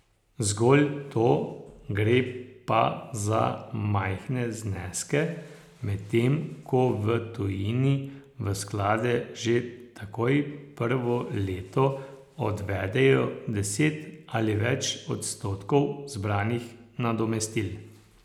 Zgolj to, gre pa za majhne zneske, medtem ko v tujini v sklade že takoj prvo leto odvedejo deset ali več odstotkov zbranih nadomestil.